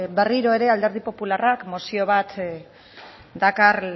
berriro ere alderdi popularrak mozio bat dakar